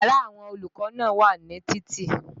Yàrá àwọn olùkọ́ náà wà ní títì